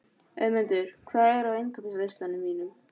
Auðmundur, hvað er á innkaupalistanum mínum?